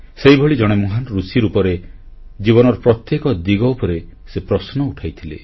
ସେହିଭଳି ଜଣେ ମହାନ ଋଷି ରୂପରେ ଜୀବନର ପ୍ରତ୍ୟେକ ଦିଗ ଉପରେ ସେ ପ୍ରଶ୍ନ ଉଠାଇଥିଲେ